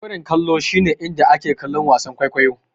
Zauren kallo shi ne inda ake kallon wasan kwaikwayo.